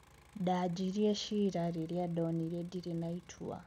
Ndaanjirie ciira ririandonire ndire na itua."